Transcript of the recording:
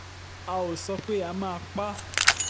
a ò sọ pé a máa pa á